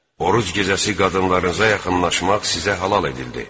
Oruc gecəsi qadınlarınıza yaxınlaşmaq sizə halal edildi.